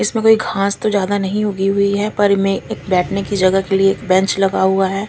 इसमें कोई घास तो ज्यादा नही उगी हुई है पर में एक बेठने की जगह के लिए बेंच लगा हुआ है।